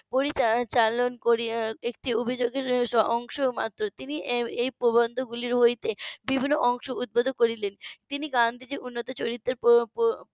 পরিচালন করিয়া একটি অভিযোগের অংশমাত্র তিনি এই প্রবন্ধগুলি হইতে বিভিন্ন অংশ উদ্বোধন করিলেন তিনি গান্ধীজির উন্নত চরিত্রের .